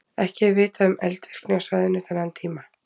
Ekki er vitað um eldvirkni á svæðinu þennan tíma.